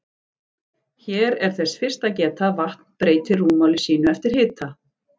Hér er þess fyrst að geta að vatn breytir rúmmáli sínu eftir hita.